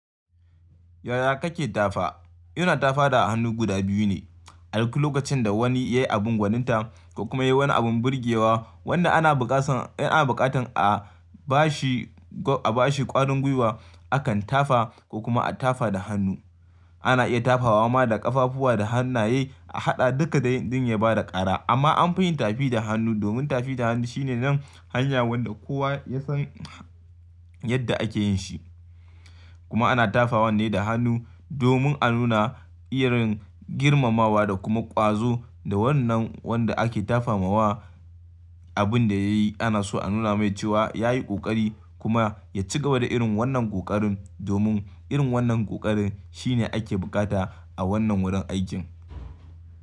Yaya kake tafa? Yana tafawa da hannu guda biyu ne. A duk lokacin da wani ya yi abin gwaninta ko kuma ya yi wani abin burgewa wanda ana buƙatar a ba shi ƙwarin gwiwa, akan tafa ko kuma a tafa da hannu. Ana iya tafawa ma da ƙafafuwa da hannaye a haɗa duka duka don ya ba da ƙara. Amma anfi yin tafi da hannu domin tafi da hannu shine nan hanya wanda kowa ya san yadda ake yin shi. Kuma ana tafawan ne da hannu domin a nuna irin girmamawa da kuma ƙwazo ga wannan wanda ake tafawa abin da ya yi. Ana so a nuna mai cewa ya yi ƙoƙari kuma ya cigaba da irin wannan ƙoƙarin domin irin wannan ƙoƙarin shine ake buƙata a wannan wurin aikin.